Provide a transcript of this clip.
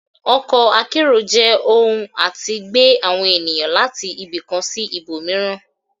Ọkọ akẹ́ro jẹ ọhún atí gbe awọn enìyan latí ibì kán sí ìbomiirán